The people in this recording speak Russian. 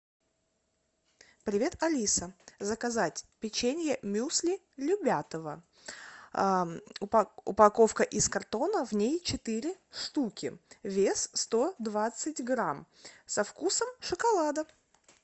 привет алиса заказать печенье мюсли любятово упаковка из картона в ней четыре штуки вес сто двадцать грамм со вкусом шоколада